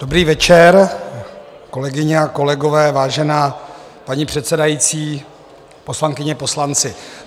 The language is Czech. Dobrý večer, kolegyně a kolegové, vážená paní předsedající, poslankyně, poslanci.